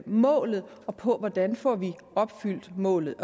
målet og på hvordan vi får opfyldt målet